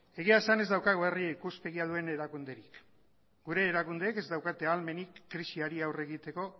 egia esan ez daukagu herri ikuspegia duen herri erakunderik gure erakundeek ez daukate ahalmenik krisiari aurre egiteko